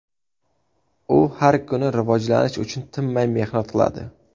U har kuni rivojlanish uchun tinmay mehnat qiladi.